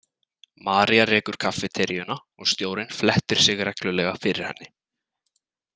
María rekur kaffiteríuna og stjórinn flettir sig reglulega fyrir henni.